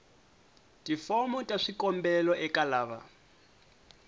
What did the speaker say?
tifomo ta swikombelo eka lava